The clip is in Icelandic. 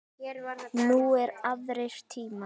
Nú eru aðrir tímar.